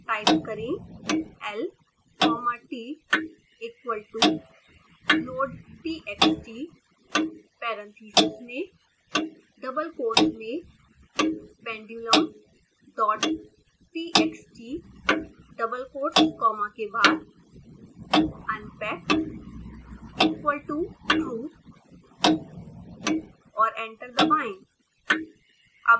type करें lcommatequal toloadtxtparentheses में double quotes मेंpendulumdottxtafter double quotes commaunpackequal totrue और एंटर दबाएं